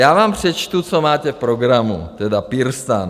Já vám přečtu, co máte v programu, tedy PirSTAN.